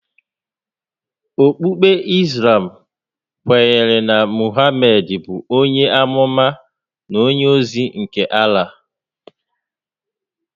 Okpukpe Islam kwenyere na Mohamedị bụ onye ámúmá na onye ózí nke Allah